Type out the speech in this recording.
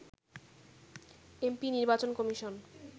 MP নির্বাচন commission